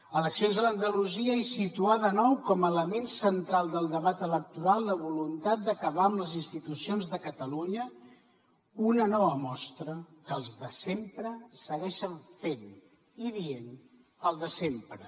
eleccions a andalusia i situar de nou com a element central del debat electoral la voluntat d’acabar amb les institucions de catalunya una nova mostra que els de sempre segueixen fent i dient el de sempre